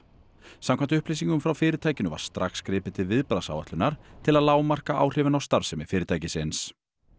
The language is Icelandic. samkvæmt upplýsingum frá fyrirtækinu var strax gripið til viðbragðsáætlunar til að lágmarka áhrifin á starfsemi fyrirtækisins